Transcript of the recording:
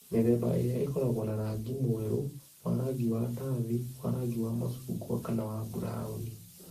Mĩthemba ĩrĩa ĩkoragwo na rangi mwerũ, wa rangi wa ndathi, wa rangi wa macungwa, kana wa burauni